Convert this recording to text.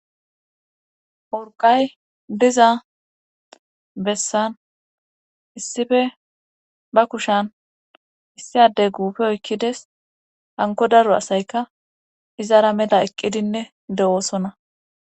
Uriqay diza bessan issife ba kushan issiade guufe oykkides hanko daru asayka izara mela eqqidinne de7oosona